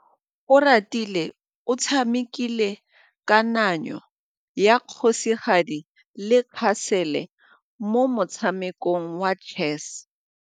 Oratile o tshamekile kananyô ya kgosigadi le khasêlê mo motshamekong wa chess.